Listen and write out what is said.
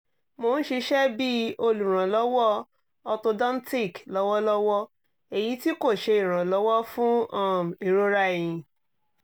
mo n ṣiṣẹ bi oluranlọwọ orthodontic lọwọlọwọ eyiti ko ṣe iranlọwọ fun um irora ẹhin